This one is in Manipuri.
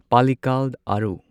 ꯄꯥꯜꯂꯤꯛꯀꯥꯜ ꯑꯥꯔꯨ